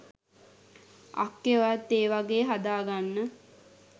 අක්කේ ඔයත් ඒ වගේ හදා ගන්න